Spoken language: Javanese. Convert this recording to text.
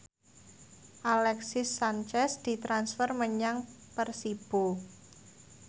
Alexis Sanchez ditransfer menyang Persibo